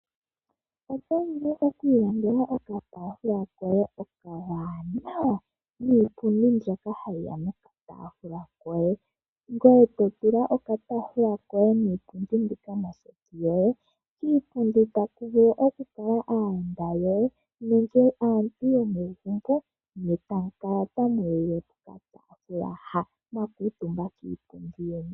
Oto vulu okuilandela okataafula koye okawanawa niipundi mbyoka hayi ya nokataafula, ngoye to tula okataafula koye niipundi mbika moseti yoye. Kiipundi otaku vulu okukala aayenda yoye nege aantu yomegumbo ne tamu kala tamu lile pokataafula haka mwa kuutumba kiipundi yeni.